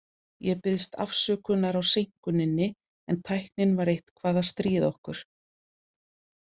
Ég biðst afsökunar á seinkuninni, en tæknin var eitthvað að stríða okkur.